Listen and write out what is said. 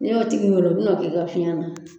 N y'o tigi wele o bɛna kɛ i ka fiɲɛ na